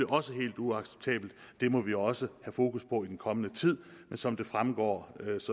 også helt uacceptabelt og det må vi også have fokus på i den kommende tid men som det fremgår